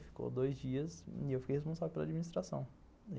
Ficou dois dias e eu fiquei responsável pela administração.